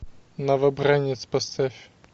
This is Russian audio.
новобранец поставь